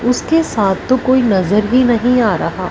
उसके साथ तो कोई नजर ही नहीं आ रहा--